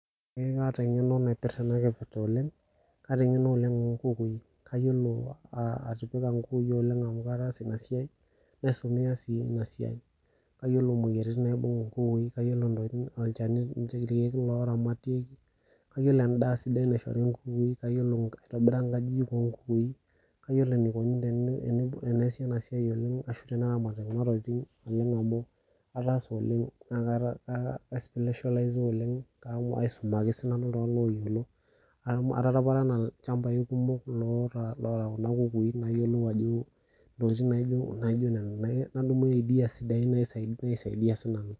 Ee kaata eng'eno naipirta ena kipirta oleng, kaata eng'eno oleng onkukui. Kayiolo atipika nkukui oleng amu kataasa inasiai, naisumea si inasiai. Kayiolo moyiaritin naibung inkukui, kayiolo olchani irkeek loramatieki, Kayiolo endaa sidai naishori nkukui, kayiolo aitobira nkajijik onkukui, kayiolo enikoni teneesi enasiai oleng ashu teneramati kuna tokiting oleng amu ataasa oleng na kaata aspesholaiza oleng aisumaki sinanu iltung'anak loyiolo. Ataparana ilchambai kumok loota kuna kukui nayiolou ajo intokiting naijo nena. Nadumu ideas sidain naisaidia sinanu.